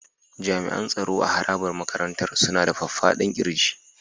Jami'an tsaro a harabar makarantar suna da faffadan ƙirji.